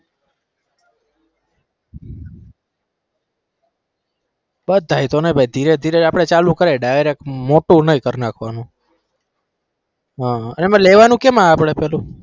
બધાએ તો નહિ ભાઈ ધીરે ધીરે આપણે ચાલુ કરાએ direct મોટું નઈ કર નાખવાનું હા એમાં લેવાનું કેમ આપણે પહેલું?